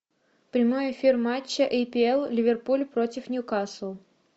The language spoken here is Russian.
прямой эфир матча апл ливерпуль против ньюкасл